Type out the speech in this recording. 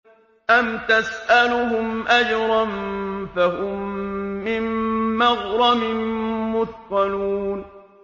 أَمْ تَسْأَلُهُمْ أَجْرًا فَهُم مِّن مَّغْرَمٍ مُّثْقَلُونَ